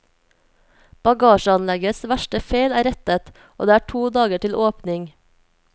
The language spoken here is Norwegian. Bagasjeanleggets verste feil er rettet, og det er to dager til åpning.